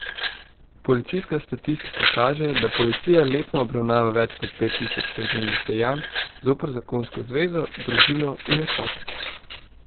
Policijska statistika kaže, da policija letno obravnava več kot pet tisoč kaznivih dejanj zoper zakonsko zvezo, družino in otroke.